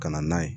Ka na n'a ye